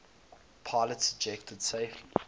pilots ejected safely